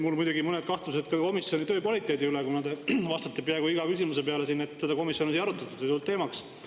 Mul muidugi on mõned kahtlused komisjoni töö kvaliteedi suhtes, kuna te vastate peaaegu iga küsimuse peale siin, et seda komisjonis ei arutatud või see ei tulnud teemaks.